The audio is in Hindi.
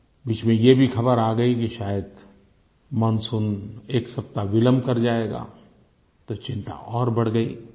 बीच में ये भी ख़बर आ गयी कि शायद मानसून एक सप्ताह विलम्ब कर जाएगा तो चिंता और बढ़ गयी